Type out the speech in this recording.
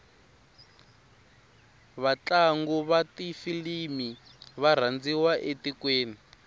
vatlangu vatifilimu varandziwa etikweni